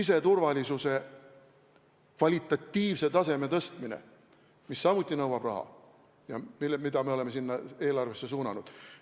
Siseturvalisuse kvalitatiivse taseme tõstmine nõuab samuti raha ja me oleme seda eelarvest selleks suunanud.